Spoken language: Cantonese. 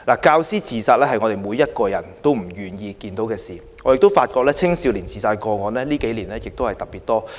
教師自殺是每個人也不願意看見的事，我亦發現青少年的自殺個案近幾年特別多。